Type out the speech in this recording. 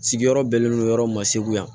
Sigiyɔrɔ bɛnnen do yɔrɔ ma segu yan